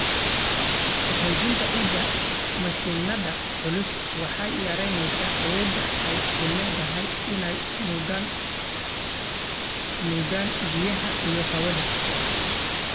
Ku-xoojinta ciidda mashiinnada culus waxay yaraynaysaa awoodda ay u leedahay inay nuugaan biyaha iyo hawada.